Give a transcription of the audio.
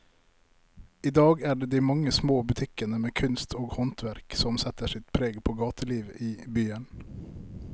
I dag er det de mange små butikkene med kunst og håndverk som setter sitt preg på gatelivet i byen.